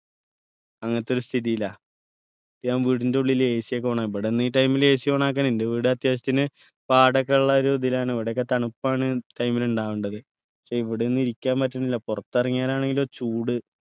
അങ്ങത്തെ ഒരു സ്ഥിതിയിലാ റ്റ് ഞാൻ വീടിൻ്റെ ഉള്ളിൽ AC ഒക്കെ on ആ ഇവിടന്ന് ഈ time ൽ ACon ആക്കാൻ എൻ്റെ വീട് അത്യാവശ്യത്തിന് പാടം ഒക്കെള്ള ഒരു ഇതിലാണ് ഇവിടൊക്കെ തണുപ്പാണ് ഈ time ൽ ഇണ്ടാവണ്ടത് പക്ഷെ ഇവിടെ ഒന്നും ഇരിക്കാൻപറ്റിനില്ല പുറത്ത് ഇറങ്ങിയാലാണെങ്കിലോ ചൂട്